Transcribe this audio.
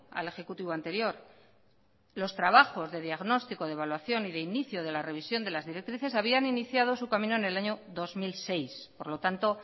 al ejecutivo anterior los trabajos de diagnóstico de evaluación y de inicio de la revisión de las directrices habían iniciado su camino en el año dos mil seis por lo tanto